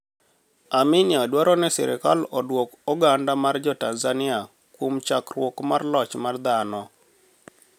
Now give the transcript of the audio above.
Aminia dwaro nii sirkal oduok oganida mar jo Tanizaniia kuom chakruok marloch mar dhano.